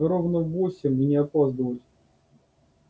ровно в восемь и не опаздывать